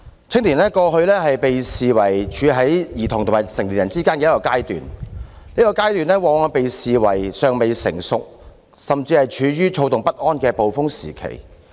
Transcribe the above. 青年在過去被視為處於兒童與成年人之間的一個階段，這個階段往往被視為"尚未成熟"，甚至是處於躁動不安的"暴風時期"。